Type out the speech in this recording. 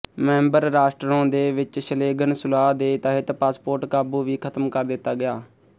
member ਰਾਸ਼ਟਰੋਂ ਦੇ ਵਿੱਚ ਸ਼ਲੇਗਨ ਸੁਲਾਹ ਦੇ ਤਹਿਤ ਪਾਸਪੋਰਟ ਕਾਬੂ ਵੀ ਖ਼ਤਮ ਕਰ ਦਿੱਤਾ ਗਿਆ